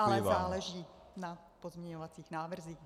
Ale záleží na pozměňovacích návrzích.